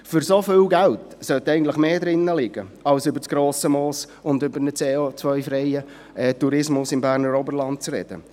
Für so viel Geld sollte eigentlich mehr drin liegen, als über das Grosse Moos und über einen CO-freien Tourismus im Berner Oberland zu sprechen.